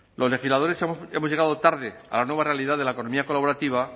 los legisladores hemos llegado tarde a la nueva realidad de la economía colaborativa